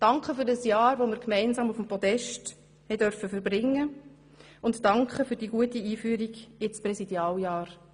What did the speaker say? Danke für das Jahr, das wir gemeinsam auf dem Podest verbringen durften, und danke für die gute Einführung ins Präsidialjahr.